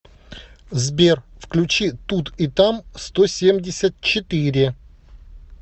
сбер включи тут и там сто семьдесят четыре